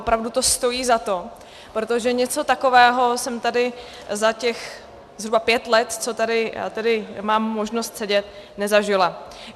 Opravdu to stojí za to, protože něco takového jsem tady za těch zhruba pět let, co tady mám možnost sedět, nezažila.